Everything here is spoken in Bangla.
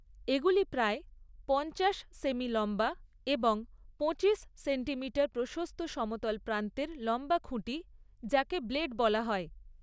এগুলি প্রায় পঞ্চাশ সেমি লম্বা এবং পঁচিশ সেন্টিমইটার প্রশস্ত সমতল প্রান্তের লম্বা খুঁটি, যাকে ব্লেড বলা হয়।